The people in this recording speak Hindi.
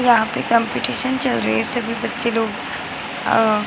यहाँ पे कम्पटीशन चल रही है सभी बच्चे लोग अ --